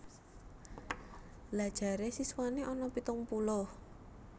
Lha jare siswane ana pitung puluh